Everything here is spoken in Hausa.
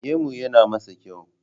Gemu yana masa kyau